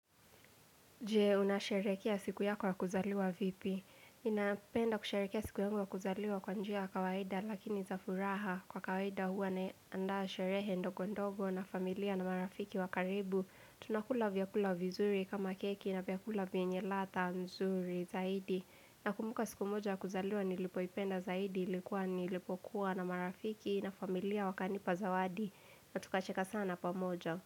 Jee, unasherehekea siku yako ya kuzaliwa vipi? Ninapenda kusherehekea siku yangu ya kuzaliwa kwa njia ya kawaida lakini za furaha. Kwa kawaida huwa naandaa sherehe ndogo ndogo na familia na marafiki wa karibu. Tunakula vyakula vizuri kama keki na vyakula vienye ladha mzuri zaidi. Na kumbuka siku moja ya kuzaliwa nilipoipenda zaidi ilikuwa nilipokuwa na marafiki na familia wakanipa zawadi. Na tukacheka sana pamoja.